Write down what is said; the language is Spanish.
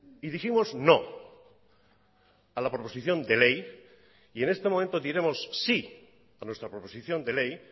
y dijimos no a la proposición de ley y en este momento diremos sí a nuestra proposición de ley